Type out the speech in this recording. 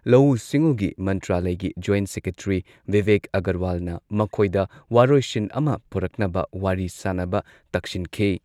ꯂꯧꯎ ꯁꯤꯡꯎꯒꯤ ꯃꯟꯇ꯭ꯔꯂꯢꯒꯤ ꯖꯣꯏꯟꯠ ꯁꯦꯀ꯭ꯔꯦꯇ꯭ꯔꯤ ꯚꯤꯕꯦꯛ ꯑꯒꯔꯋꯥꯜꯅ ꯃꯈꯣꯏꯗ ꯋꯥꯔꯣꯏꯁꯤꯟ ꯑꯃ ꯄꯨꯔꯛꯅꯕ ꯋꯥꯔꯤ ꯁꯥꯟꯅꯕ ꯇꯛꯁꯤꯟꯈꯤ꯫